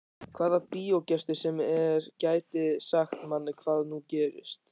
Hvaða bíógestur sem er gæti sagt manni hvað nú gerist.